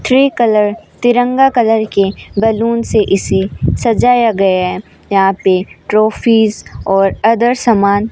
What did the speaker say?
three colour तिरंगा colour के balloon से इसे सजाया गया है यहां पे ट्रॉफीज और अदर सामान--